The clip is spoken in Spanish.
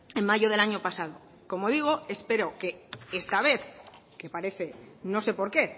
en mayo del año pasado como digo espero que esta vez que parece no sé por qué